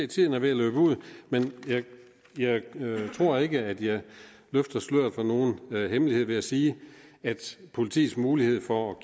tiden er ved at løbe ud men jeg tror ikke at jeg løfter sløret for nogen hemmelighed ved at sige at politiets mulighed for